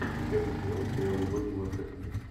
десятый сезон сериал любовь на манхеттене